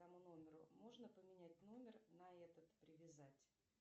тому номеру можно поменять номер на этот привязать